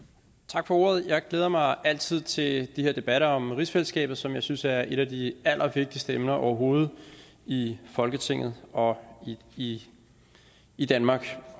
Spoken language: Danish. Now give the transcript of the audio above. tak for ordet jeg glæder mig altid til de her debatter om rigsfællesskabet som jeg synes er et af de allervigtigste emner overhovedet i folketinget og i i danmark